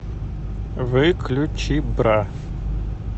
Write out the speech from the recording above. выключи бра